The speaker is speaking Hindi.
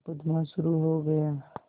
मुकदमा शुरु हो गया